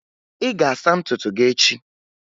Ị ga-asa ntutu gị echi!